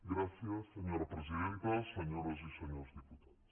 gràcies senyora presidenta senyores i senyors diputats